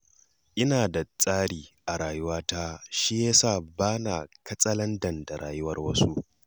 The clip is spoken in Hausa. Ina da tsari a rayuwata, shi ya sa ba na katsalandan a rayuwar wasu.